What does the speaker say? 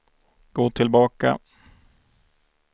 gå tillbaka